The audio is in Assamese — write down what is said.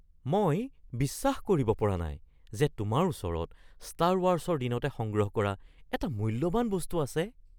মই বিশ্বাস কৰিব পৰা নাই যে তোমাৰ ওচৰত ষ্টাৰ ৱাৰছৰ দিনতে সংগ্ৰহ কৰা এটা মূল্যৱান বস্তু আছে। (বন্ধু ১)